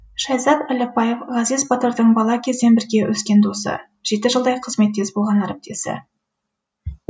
шайзат әліпбаев ғазиз батырдың бала кезден бірге өскен досы жеті жылдай қызметтес болған әріптесі